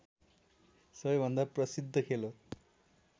सबैभन्दा प्रसिद्ध खेल हो